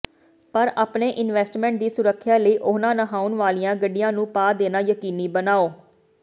ਪਰ ਆਪਣੇ ਇਨਵੈਸਟਮੈਂਟ ਦੀ ਸੁਰੱਖਿਆ ਲਈ ਉਹਨਾਂ ਨਹਾਉਣ ਵਾਲੀਆਂ ਗੱਡੀਆਂ ਨੂੰ ਪਾ ਦੇਣਾ ਯਕੀਨੀ ਬਣਾਓ